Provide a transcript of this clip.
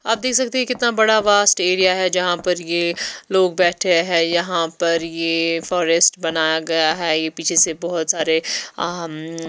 आप देख सकते हैं ये कितना बड़ा वास्ट एरिया है जहां पर ये लोग बैठे हैं यहां पर ये फॉरेस्ट बनाया गया है ये पीछे से बहोत सारे अहमम--